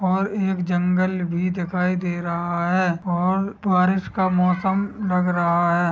और एक जंगल भी दिखाई दे रहा हैं और बारिश का मौसम लग रहा हैं।